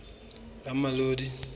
ramolodi